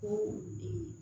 Ko